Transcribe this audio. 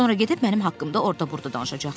Sonra gedib mənim haqqımda orada-burada danışacaqsınız.